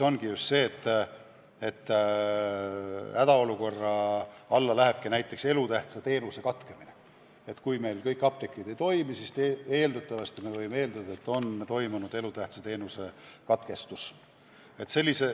Hädaolukorra alla lähebki näiteks elutähtsa teenuse katkemine ja kui meil kõik apteegid on kinni, siis eeldatavasti on elutähtsa teenuse osutamine katkenud.